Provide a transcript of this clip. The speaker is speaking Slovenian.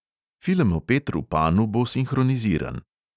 Film o petru panu bo sinhroniziran.